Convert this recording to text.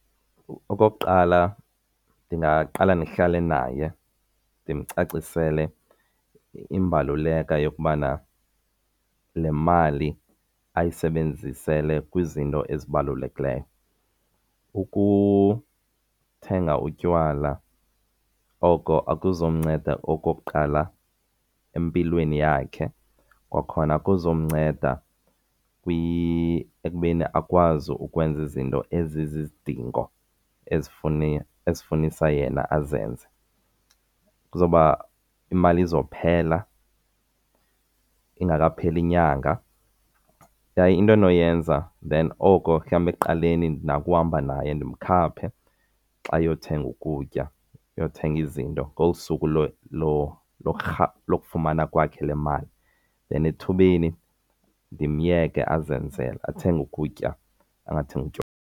Okokuqala, ndingaqala ndihlale naye ndimcacisele imbaluleka yokubana le mali ayisebenzisele kwizinto ezibalulekileyo. Ukuthenga utywala oko akuzumnceda okokuqala empilweni yakhe. Kwakhona akuzukumnceda ekubeni akwazi ukwenza izinto ezizizidingo ezifunisa yena azenze. Kuzoba, imali izophela ingekapheli inyanga. Yaye into endinoyenza then oko mhlambe ekuqaleni ndinako uhamba naye ndimkhaphe xa eyothenga ukutya, eyothenga izinto ngosuku lokufumana kwakhe le mali, then ethubeni ndimyeke azenzele. Athenge ukutya, angathengi utywala.